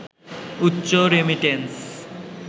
উচ্চ রেমিট্যান্স